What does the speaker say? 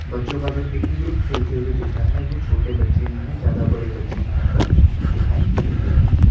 बच्चों का जो एक जो ग्रुप खेलते हुए दिख रहा है वो छोटे बच्चे ही हैं ज्यादा बड़े बच्चे यहां पर दिखाई नहीं दे रहे हैं।